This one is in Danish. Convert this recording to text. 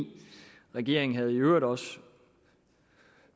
regeringen havde i øvrigt også